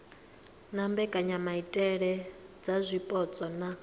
na mbekanyamaitele dza zwipotso na